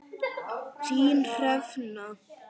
Þín, Hrefna.